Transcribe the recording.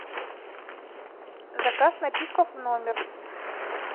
заказ напитков в номер